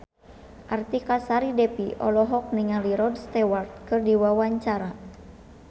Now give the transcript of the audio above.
Artika Sari Devi olohok ningali Rod Stewart keur diwawancara